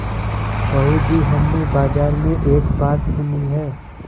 बहू जी हमने बाजार में एक बात सुनी है